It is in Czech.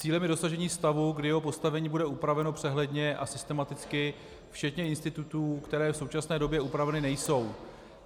Cílem je dosažení stavu, kdy jeho postavení bude upraveno přehledně a systematicky, včetně institutů, které v současné době upraveny nejsou.